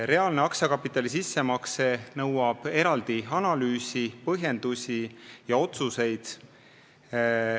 Reaalne aktsiakapitali sissemakse nõuab eraldi analüüsi, põhjendusi ja otsuseid.